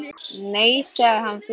Nei, sagði hann fölur.